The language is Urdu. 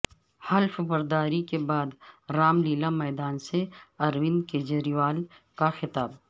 حلف برداری کے بعد رام لیلا میدان سے اروند کیجریوال کا خطاب